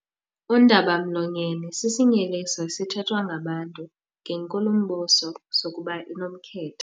Undaba-mlonyeni sisinyeliso esithethwa ngabantu ngenkulumbuso sokuba inomkhethe.